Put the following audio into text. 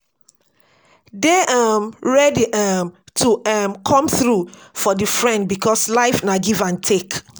Dey um ready um to um come through for di friend because life na give and take